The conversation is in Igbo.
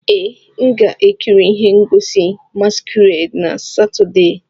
Ee, m ga-ekiri ihe ngosi masquerade na Satọde.